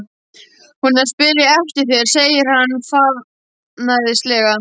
Hún er að spyrja eftir þér, segir hann varfærnislega.